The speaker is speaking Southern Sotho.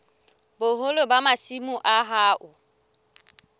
boholo ba masimo a hao